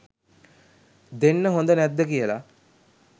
දෙන්න හොඳ නැද්ද කියල